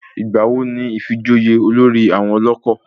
Ìgbà wo ni ifijoyè olórí àwọn ọlọ́kọ̀?